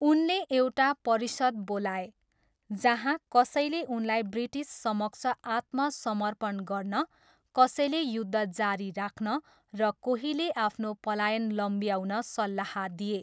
उनले एउटा परिषद बोलाए, जहाँ कसैले उनलाई ब्रिटिससमक्ष आत्मसमर्पण गर्न, कसैले युद्ध जारी राख्न र कोहीले आफ्नो पलायन लम्ब्याउन सल्लाह दिए।